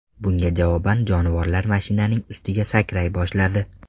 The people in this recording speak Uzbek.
Bunga javoban jonivorlar mashinaning ustiga sakray boshladi.